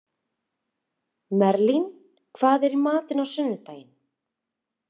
Merlin, hvað er í matinn á sunnudaginn?